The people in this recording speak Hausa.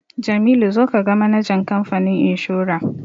Jamilu zo ka ga manajan kamfanin inshora!